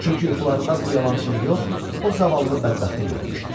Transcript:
Çünki yuxularında bu yalançını yox, o zavallı bədbəxti görmüşdü.